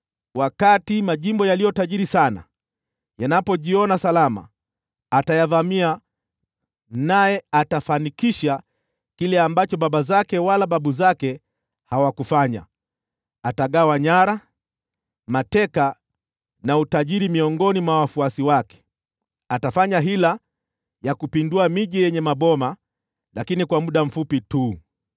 Wakati majimbo yaliyo tajiri sana yanajiona salama, atayavamia, naye atafanikisha kile ambacho baba zake wala babu zake hawakuweza. Atagawa nyara, mateka na utajiri miongoni mwa wafuasi wake. Atafanya hila ya kupindua miji yenye maboma, lakini kwa muda mfupi tu.